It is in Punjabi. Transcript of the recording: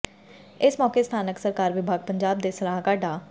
ਇਸ ਮੌਕੇ ਸਥਾਨਕ ਸਰਕਾਰ ਵਿਭਾਗ ਪੰਜਾਬ ਦੇ ਸਲਾਹਕਾਰ ਡਾ